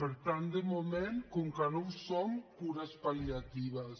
per tant de moment com que no ho som cures pal·liatives